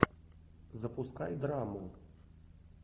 запускай драму